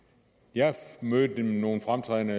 jeg mødte nogle fremtrædende